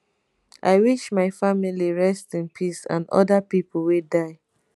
i wish my family rest in peace and oda pipo wey die